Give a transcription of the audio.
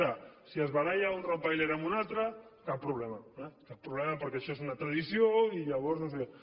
ara si es baralla un rottweiler amb un altre cap problema eh cap problema perquè això és una tradició i llavors no sé què